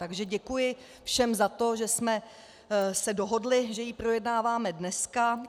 Takže děkuji všem za to, že jsme se dohodli, že ji projednáváme dneska.